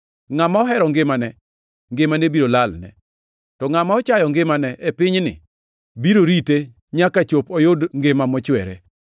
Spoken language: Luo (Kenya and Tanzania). Ngʼama ohero ngimane, ngimane biro lalne, to ngʼama ochayo ngimane e pinyni biro rite nyaka chop oyud ngima mochwere.